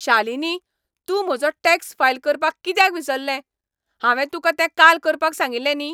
शालिनी, तूं म्हजो tax file करपाक कित्याक विसरलें? हांवें तुका तें काल करपाक सांगिल्लें न्ही?